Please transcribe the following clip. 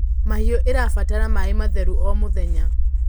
mahiũ irabatara maĩ matheru o mũthenya